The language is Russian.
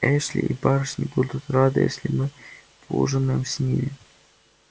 эшли и барышни будут рады если мы поужинаем с ними